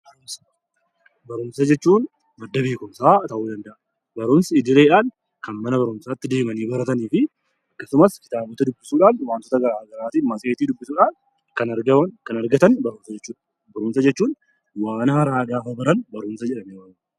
Barumsa jechuun madda beekumsaa ta'uu danda'a. Barumsi idileedhaan kan mana barumsaatti deemanii baratanii fi akkasumas kitaabota dubbisuudhaan waantota gosa garaagaraatiin matseetii dubbisuudhaan kan argaman, kan argatan barumsa jechuudha. Barumsa jechuun waan haaraa yoo baranne, barumsa jedhamee waamama.